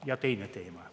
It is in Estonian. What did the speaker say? Ja teine teema.